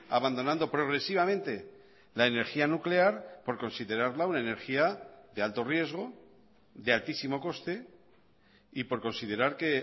abandonando progresivamente la energía nuclear por considerarla una energía de alto riesgo de altísimo coste y por considerar que